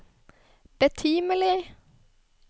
betimelig